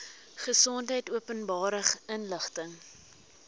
gesondheid openbare inligting